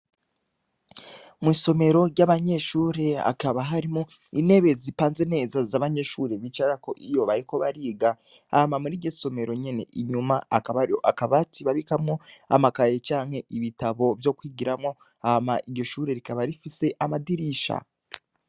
Mwisomero ryabanyeshure hakaba harimwo intebe zipanze neza zabanyeshure bicarako iyo bariko bariga hama muriryosomero nyene inyuma hakaba hariho akabati babikamwo amakaye canke ibitabo vyokwigiramwo hama iryoshure rikaba rifise amadirisha